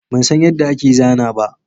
Ban san yadda ake zana ba